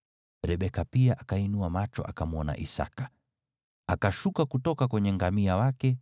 Rebeka pia akainua macho akamwona Isaki. Akashuka kutoka kwenye ngamia wake